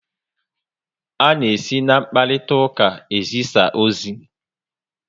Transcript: A na esi na mkparitauka ezisa ozi